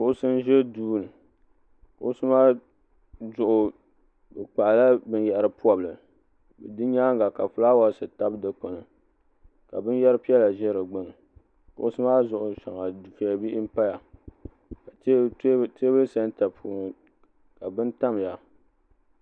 kuɣusi n ʒɛ duu ni kuɣusi maa zuɣu bi kpaɣala binyahari pobili di nyaanga ka fulaawaasi tabi dikpuni kq binyɛri piɛla ʒɛ di gbuni kuɣusi maa zuɣu dufɛli bihi n paya teebuli sɛnta zuɣu ka bini paya